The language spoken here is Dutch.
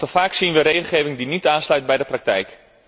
Nog te vaak zien we regelgeving die niet aansluit bij de praktijk.